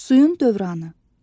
Suyun dövranı.